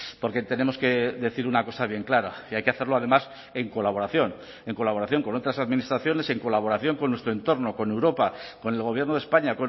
porque tenemos que decir una cosa bien clara y hay que hacerlo además en colaboración en colaboración con otras administraciones en colaboración con nuestro entorno con europa con el gobierno de españa